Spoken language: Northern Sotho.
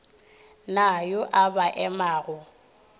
na yo a ba emago